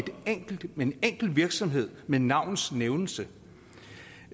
en enkel virksomhed med navns nævnelse